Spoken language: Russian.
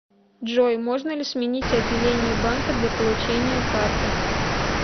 джой можно ли сменить отделение банка для получения карты